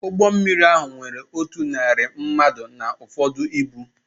Ụgbọ mmiri ahụ nwere otu narị mmadụ na ụfọdụ ibu